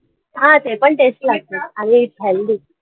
हा ते पण tasty लागतात आम्ही खाल्ली